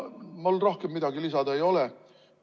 Mul rohkem midagi lisada ei ole.